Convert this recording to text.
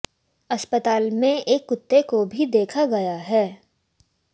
अस्पताल में एक कुत्ते को भी देखा गया है